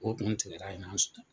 O kun tigɛda ye ɲɔgɔn sɔrɔ.